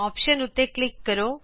option ਉਤੇ click ਕਰੋ